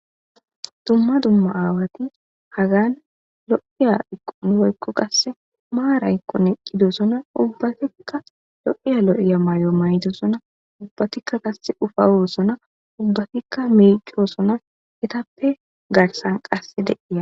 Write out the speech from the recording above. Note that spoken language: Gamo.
Dumma dumma aawati hagan lo'iya iqumoykko qasse maaraykkoneqqidoosona ubbatikka lo'iya lo7iya maayo maytosona ubbatikka qasse ufa oosona ubbatikka miichosona etappe garsan qasse deiya